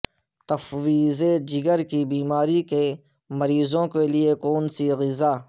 تفویض جگر کی بیماری کے مریضوں کے لئے کون سی غذا